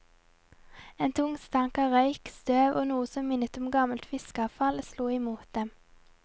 En tung stank av røyk, støv og noe som minnet om gammelt fiskeavfall slo imot dem.